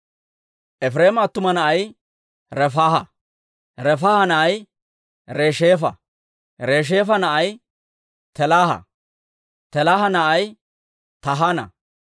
Efireema attuma na'ay Refaaha; Refaaha na'ay Resheefa; Resheefa na'ay Telaaha; Telaaha na'ay Tahaana;